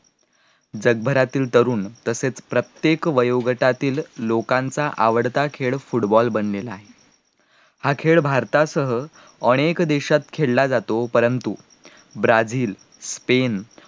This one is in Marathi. जगभरातील तरुण तसेच प्रत्येक वयोगटातील लोकांचा आवडता खेळ Football बनलेला आहे, हा खेळ भारतासह अनेक देशात खेळला जातो परंतु ब्राझील, स्पेन